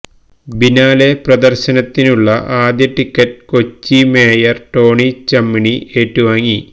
biennale പ്രദര്ശനത്തിനുള്ള ആദ്യ ticket Kochi mayor Tony Chammini ഏറ്റുവാങ്ങി